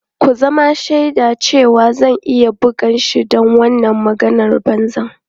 Ku zama shaidana cewa zan iya bugan shi don wannan maganar banza.